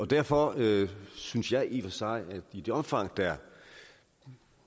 derfor synes jeg i og for sig at i det omfang der